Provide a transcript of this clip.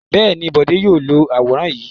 Bẹ́ẹ̀ ni, Bọ̀dé yóò lo àwòrán yìí.